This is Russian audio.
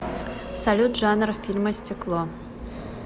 салют жанр фильма стекло